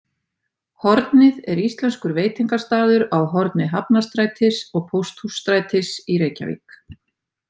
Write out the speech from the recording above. Hornið er íslenskur veitingastaður á horni Hafnarstrætis og Pósthússtrætis í Reykjavík.